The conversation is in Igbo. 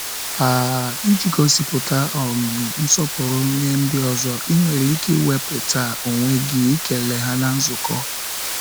um Iji gosipụta um nsọpụrụ nye ndị ọzọ, ị nwere ike iwepụta onwe gị ịkele ha na nzukọ.